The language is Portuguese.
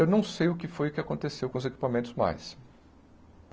Eu não sei o que foi que aconteceu com os equipamentos mais.